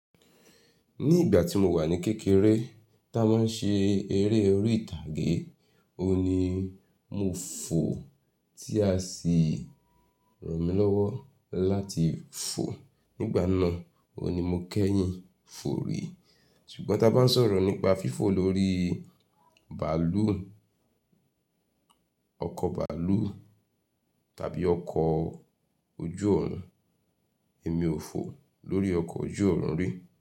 Ní ìgbà tí mo wà ní kékeré, tí a bá ń ṣe eré orí ìtàgé, òun ni mo fò tí a sì ràn mí lọ́wọ́ láti fò. Nígbà náà, òun ni mo kẹ́yìn fò rí. Ṣùgbọ́n tí a bá ń sọ̀rọ̀ nípa fífò lórí bàálù, ọkọ̀ bàálù tàbí ọkọ ojú òòrùn, èmi ò fò lórí ọkọ ojú òòrùn rí.